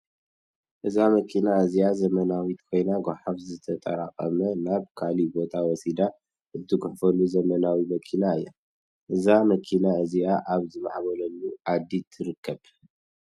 እዛ መኪና እዚኣ ዘመናዊት ኮይና ጓሓፍ ዝተጣራቀመ ናብ ካሊእ ቦታ ወሲዳ እትጉሕፍ ዘመናዊት መኪና እያ። እዛ መኪና እዚኣ ኣብ ዝማዕነበላ 'ዓዲ ትርከብ ።